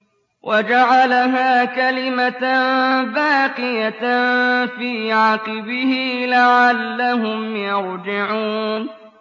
وَجَعَلَهَا كَلِمَةً بَاقِيَةً فِي عَقِبِهِ لَعَلَّهُمْ يَرْجِعُونَ